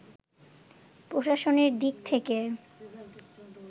প্রশাসনের দিক থেকে